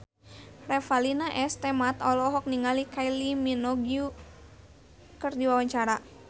Revalina S. Temat olohok ningali Kylie Minogue keur diwawancara